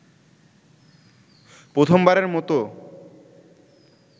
প্রথমবারের মত